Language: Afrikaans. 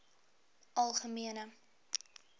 algemene